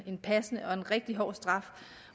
passende og rigtig hård straf